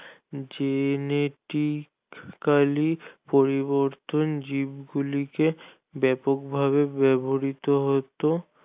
Genetically পরিবর্তন জীবগুলিকে বেপক ভাবে ব্যাবহৃত হতো